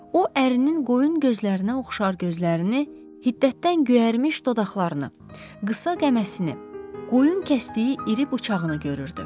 O ərinin qoyun gözlərinə oxşar gözlərini, hiddətdən göyərmiş dodaqlarını, qısa qəməsini, qoyun kəsdiyi iri bıçağını görürdü.